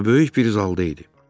O böyük bir zalda idi.